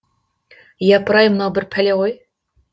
япырай мынау бір пәле ғой